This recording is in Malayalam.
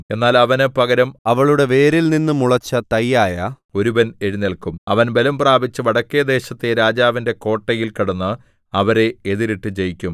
എന്നാൽ അവന് പകരം അവളുടെ വേരിൽനിന്ന് മുളച്ച തൈയായ ഒരുവൻ എഴുന്നേല്ക്കും അവൻ ബലം പ്രാപിച്ച് വടക്കെദേശത്തെ രാജാവിന്റെ കോട്ടയിൽ കടന്ന് അവരെ എതിരിട്ട് ജയിക്കും